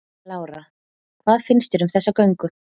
Lára: Hvað finnst þér um þessa göngu?